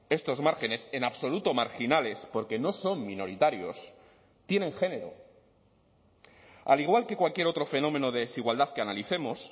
estos márgenes en absoluto marginales porque no son minoritarios tienen género al igual que cualquier otro fenómeno de desigualdad que analicemos